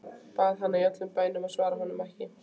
Bað hana í öllum bænum að svara honum ekki.